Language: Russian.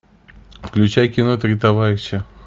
включай кино три товарища